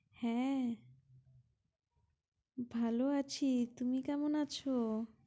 হ্যাঁ ভালো আছি তুমি কেমন আছো?